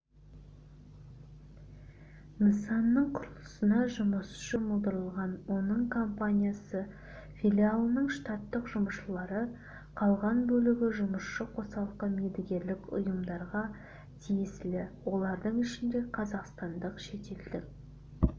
нысанының құрылысына жұмысшы жұмылдырылған оның компаниясы филиалының штаттық жұмысшылары қалған бөлігі жұмысшы қосалқы медігерлік ұйымдарға тиесілі олардың ішінде қазақстандық шетелдік